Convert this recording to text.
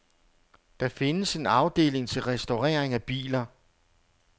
Der findes en afdeling til restaurering af biler.